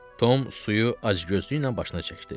Tom suyu acgözlüklə başına çəkdi.